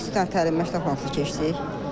İki dənə təlim məşqi keçdik.